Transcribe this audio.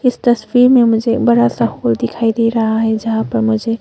इस तस्वीर मे मुझे बड़ा सा हॉल दिखाई दे रहा है। जहां पर मुझे--